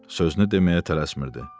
Sözünü deməyə tələsmirdi.